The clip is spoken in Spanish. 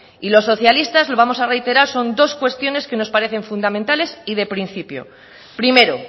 y los socialistas lo vamos a reiterar con dos cuestiones que nos parece fundamentales y de principio primero